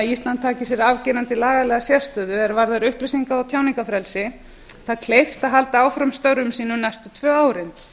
ísland taki sér algerlega lagalega sérstöðu að því er varðar upplýsinga og tjáningarfrelsi það er kleift að halda áfram störfum sínum næstu tvö árin